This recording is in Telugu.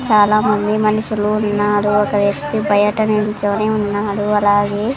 చాలా మంది మనుషులు ఉన్నారు ఒక వ్యక్తి బయట నుంచొని ఉన్నాడు అలాగే--